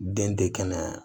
Den tɛ kɛnɛ